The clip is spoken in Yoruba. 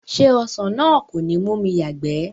Ṣé ọsàn náà kò ní mú mi yàgbẹ̀?